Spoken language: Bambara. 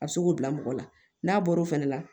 A bɛ se k'o bila mɔgɔ la n'a bɔr'o fɛnɛ la